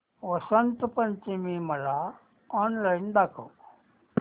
वसंत पंचमी मला ऑनलाइन दाखव